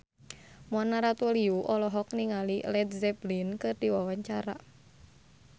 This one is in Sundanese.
Mona Ratuliu olohok ningali Led Zeppelin keur diwawancara